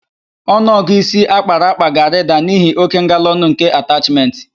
Ọnụọgụ ịsi akpara akpa ga-arịda n'ihi óké ngalaọnụ nke atachmentị.